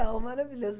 Ah, maravilhoso.